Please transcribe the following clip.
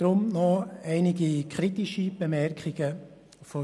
Deshalb führe ich nun einige unserer kritischen Bemerkungen an.